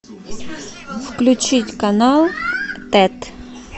включить канал тет